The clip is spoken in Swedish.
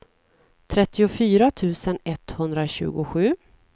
trettiofyra tusen etthundratjugosju